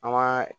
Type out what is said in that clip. An ga